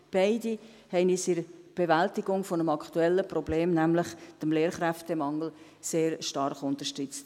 Beide haben uns in der Bewältigung eines aktuellen Problems, nämlich des Lehrkräftemangels, sehr stark unterstützt.